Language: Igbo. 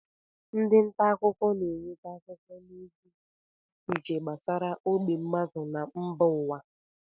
Ndị ntaakụkọ na-eweta akụkọ na ozi dị iche iche gbasara ógbè mmadụ na mba ụwa